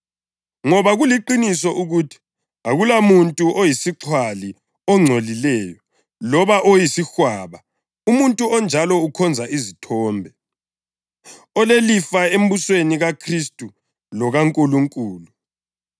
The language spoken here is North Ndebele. Ngoba kuliqiniso ukuthi: Akulamuntu oyisixhwali, ongcolileyo loba oyisihwaba, umuntu onjalo ukhonza izithombe, olelifa embusweni kaKhristu lokaNkulunkulu.